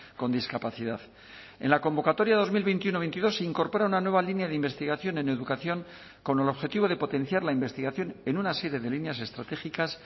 con discapacidad en la convocatoria dos mil veintiuno veintidós se incorpora una nueva línea de investigación en educación con el objetivo de potenciar la investigación en una serie de líneas estratégicas